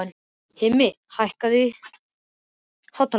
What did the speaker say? Hilmir, hækkaðu í hátalaranum.